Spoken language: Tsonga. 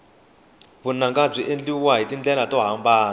vunanga byi endliwa hi tindlela to hambana